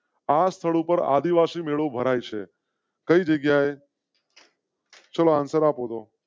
આ સ્થળો પર આદિવાસી મેળો ભરાય છે. કઈ જગ્યા એ? ચાલો આન્સર આપો